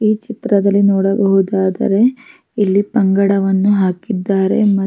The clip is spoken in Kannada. ಈ ಚಿತ್ರದಲ್ಲಿ ನೋಡುವುದಾದರೆ ಇಲ್ಲಿ ಬಂಗಾಢವನ್ನು ಹಾಕಿದ್ದಾರೆ --